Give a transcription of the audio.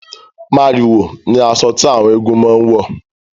Màrìwò ni asọ tí àwọn eégún máa ń wọ̀